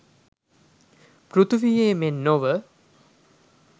පෘථීවියේ මෙන් නොව